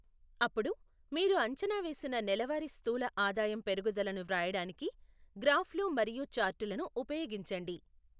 అప్పుడు, మీరు అంచనా వేసిన నెలవారీ స్థూల ఆదాయం పెరుగుదలను వ్రాయడానికి, గ్రాఫ్లు మరియు చార్టులను ఉపయోగించండి.